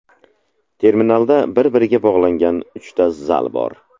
Terminalda bir-biriga bog‘langan uchta zal bor.